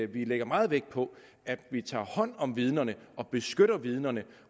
vi lægger meget vægt på at vi tager hånd om vidnerne og beskytter vidnerne